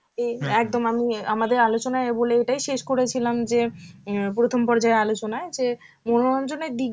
একদম আমি আমাদের আলোচনায় বলে এটাই শেষ করেছিলাম যে প্রথম পর্যায়ের আলোচনায় যে মনোরঞ্জনের দিকগুলো যেন